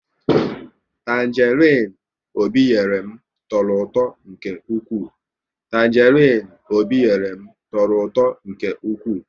Tanjerin Obi nyere m tọrọ ụtọ nke ụkwụ